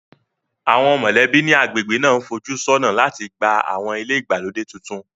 Àwọn mọ̀lẹ́bí ní agbègbè náà ń fojú sọ́nà láti gba àwọn ilé ìgbàlódé tuntun